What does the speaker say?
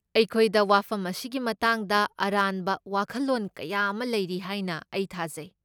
ꯑꯩꯈꯣꯏꯗ ꯋꯥꯐꯝ ꯑꯁꯤꯒꯤ ꯃꯇꯥꯡꯗ ꯑꯔꯥꯟꯕ ꯋꯥꯈꯜꯂꯣꯟ ꯀꯌꯥ ꯑꯃ ꯂꯩꯔꯤ ꯍꯥꯏꯅ ꯑꯩ ꯊꯥꯖꯩ꯫